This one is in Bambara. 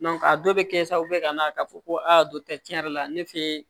a dɔw bɛ kɛ sababu ye ka na ka fɔ ko a dɔkitɛri yɛrɛ la ne fɛ